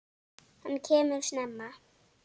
Hann kemur snemma.